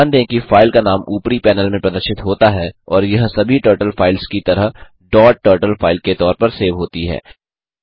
ध्यान दें कि फ़ाइल का नाम ऊपरी पैनल में प्रदर्शित होता है और यह सभी टर्टल फ़ाइल्स की तरह डॉट टर्टल फ़ाइल के तौर पर सेव होती है